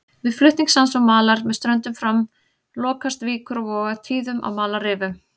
Við flutning sands og malar með ströndum fram lokast víkur og vogar tíðum af malarrifum.